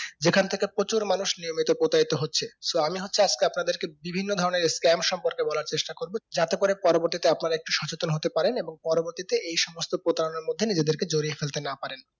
যেখান থেকে প্রচুর মানুষ নিয়মিত প্রতারিত হচ্ছে so আমি হচ্ছি আজকে আপনাদের কে বিভিন্ন ধরণের scam সম্পর্কে বলার চেষ্টা করবো যাতে করে পরবর্তীতে আপনারা একটু সচেতন হতে পারেন এবং পরবর্তীতে এই সমস্ত প্রতারণার মধ্যে নিজেদেরকে জড়িয়ে ফেলতে না পারেন